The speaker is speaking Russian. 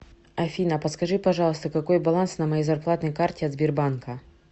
афина подскажи пожалуйста какой баланс на моей зарплатной карте от сбербанка